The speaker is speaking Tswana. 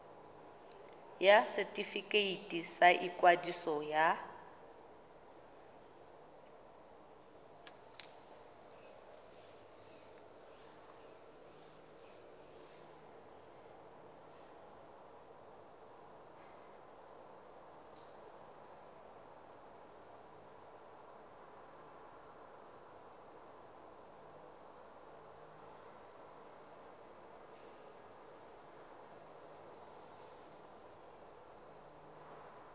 ya setefikeiti sa ikwadiso ya